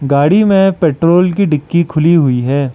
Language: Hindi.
गाड़ी में पेट्रोल की डिक्की खुली हुई है।